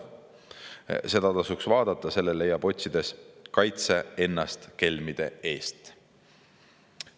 Seda tasuks vaadata, selle leiab otsides "Kaitse ennast kelmide eest".